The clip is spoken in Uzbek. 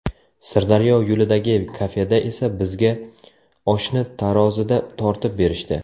Sirdaryo yo‘lidagi kafeda esa bizga oshni tarozida tortib berishdi.